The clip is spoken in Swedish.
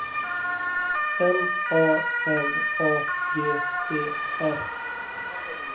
M A N A G E R